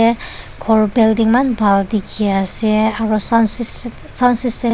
khor building eman bhal dikhiase aro soun